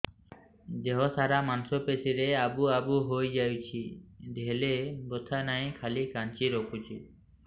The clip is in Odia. ଦେହ ସାରା ମାଂସ ପେଷି ରେ ଆବୁ ଆବୁ ହୋଇଯାଇଛି ହେଲେ ବଥା ନାହିଁ ଖାଲି କାଞ୍ଚି ରଖୁଛି